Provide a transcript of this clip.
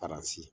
Paransi